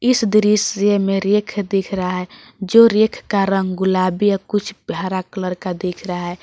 इस दृश्य में रेख दिख रहा है जो रेख का रंग गुलाबी या कुछ हरा कलर का दिख रहा है।